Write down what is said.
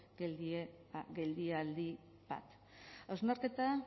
geldialdi bat hausnarketa